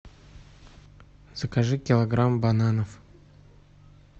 закажи килограмм бананов